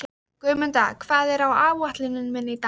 Guðmunda, hvað er á áætluninni minni í dag?